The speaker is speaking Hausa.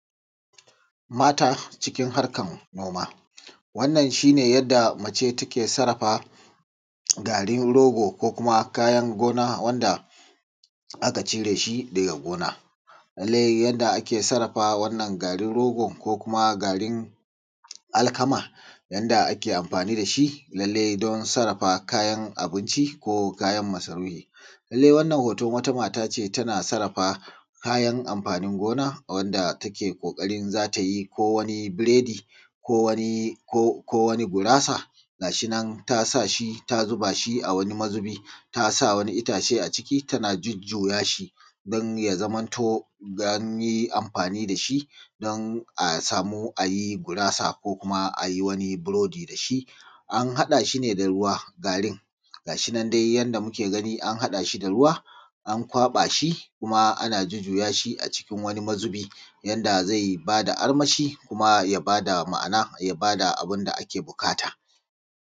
Mata cikin harkan noma. Wannan shi ne yadda mace take sarrafa garin rogo ko kuma kayan gona wanda aka cire shi daga gona. Lallai yadda ake sarrafa wannan garin rogo ko kuma garin alkama yadda ake amfani da shi lallai don sarrafa kayan abunci ko kayan masarufin. lallai wananan wata mata ce wanda tana sarrafa kayan amfanin gona wanda take ƙoƙarin za ta yi ko wani burodi ko wani gurasa ga shi nan ta sa shi ta zuba shi a wani mazubi, ta sa wani itace a ciki tana zuzzubawa tana jujjuya shi ko an yi amfani da shi don a samu a yi gurasa ko kuma a yi wani burodi da shi. An haɗa shi da ruwa garin ga shi nan dai yadda muke gani an haɗa shi da ruwa an kwaba shi an jujjuya shi a cikin wani mazubi yanda zai ba da ma'ana ya ba da abun da ake buƙata